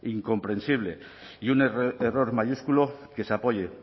incomprensible y un error mayúsculo que se apoye